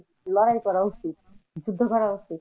লড়াই করা উচিত, যুদ্ধ করা উচিত।